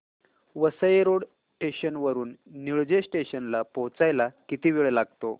Vasai road station वरून Nilje station ला पोहचायला किती वेळ लागतो